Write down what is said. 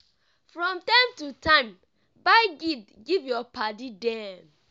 from time to time buy gift give your paddy dem.